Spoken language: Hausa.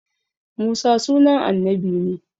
Musa sunan annabi ne